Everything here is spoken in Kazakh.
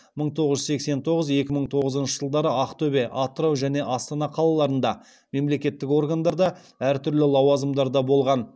мың тоғыз жүз сексен тоғыз екі мың тоғызыншы жылдары ақтөбе атырау және астана қалаларында мемлекеттік органдарда әр түрлі лауазымдарда болған